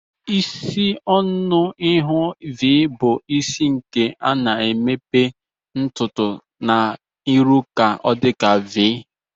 Isi ọnụ ihu v bu isi nke ana emepe ntutu na irụ ka ọdika v.